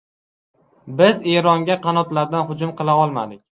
Biz Eronga qanotlardan hujum qila olmadik.